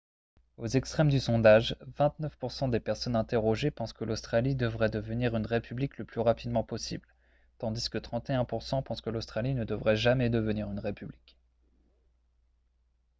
aux extrêmes du sondage 29 % des personnes interrogées pensent que l'australie devrait devenir une république le plus rapidement possible tandis que 31 % pensent que l'australie ne devrait jamais devenir une république